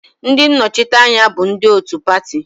Ndị nnọchiteanya bụ ndị otu pati